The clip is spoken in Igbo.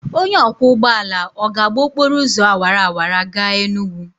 Onye ọkwọ ụgbọala ọ ga-agba okporo ụzọ awara awara gaa Enugwu?